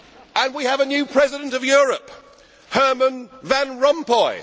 And we have a new president of Europe, Herman Van Rompuy.